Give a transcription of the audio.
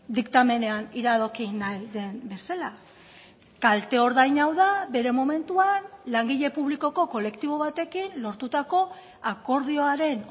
diktamenean iradoki nahi den bezala kalte ordain hau da bere momentuan langile publikoko kolektibo batekin lortutako akordioaren